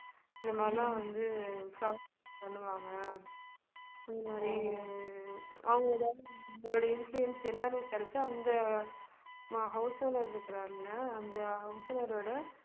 இத மாதிரிலாம் வந்து fraud பண்ணுவாங்க இதுமாதிரி அவங்க ஏதாவது உங்களுடைய influence என்னன்னு விசாரிச்சு அந்த அஹ் house owner இருக்கிறார் இல்ல அந்த house owner ஓட